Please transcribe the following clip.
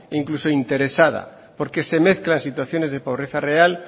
incluso interesada porque se mezclan situaciones de pobreza real